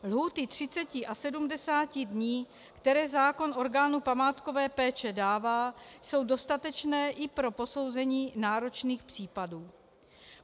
Lhůty 30 a 70 dní, které zákon orgánu památkové péče dává, jsou dostatečné i pro posouzení náročných případů.